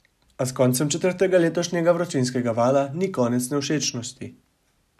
A s koncem četrtega letošnjega vročinskega vala ni konec nevšečnosti.